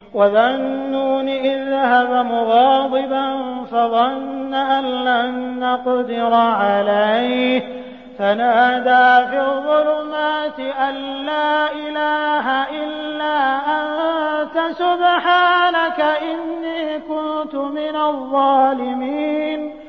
وَذَا النُّونِ إِذ ذَّهَبَ مُغَاضِبًا فَظَنَّ أَن لَّن نَّقْدِرَ عَلَيْهِ فَنَادَىٰ فِي الظُّلُمَاتِ أَن لَّا إِلَٰهَ إِلَّا أَنتَ سُبْحَانَكَ إِنِّي كُنتُ مِنَ الظَّالِمِينَ